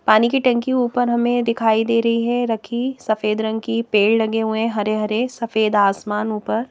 पानी की टंकी ऊपर हमें दिखाई दे रही है रखी सफेद रंग की पेड़ लगे हुए हैं हरे-हरे सफेद आसमान ऊपर--